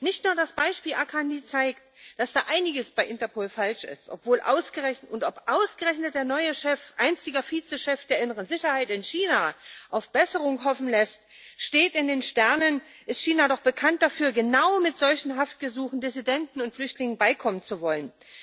Nicht nur das Beispiel Akhanlı zeigt, dass da einiges bei Interpol falsch ist, und ob ausgerechnet der neue Chef, einziger Vize Chef der inneren Sicherheit in China, auf Besserung hoffen lässt, steht in den Sternen, denn China ist doch bekannt dafür, genau mit solchen Haftgesuchen Dissidenten und Flüchtlingen beikommen zu wollen.